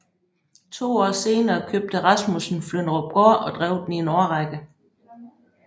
To år senere købte Rasmussen Flynderupgård og drev den i en årrække